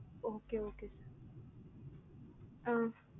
okay okay sir